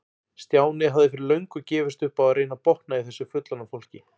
Stjáni hafði fyrir löngu gefist upp á að reyna að botna í þessu fullorðna fólki.